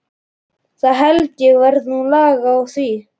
Það held ég verði nú lag á því.